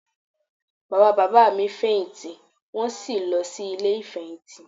Bàbá bàbá mi fèyìntì wọ́n sì lọ sí Ilé ìfèyìntì